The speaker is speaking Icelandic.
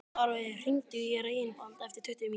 Árveig, hringdu í Reginbald eftir tuttugu mínútur.